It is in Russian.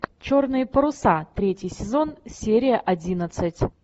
черные паруса третий сезон серия одиннадцать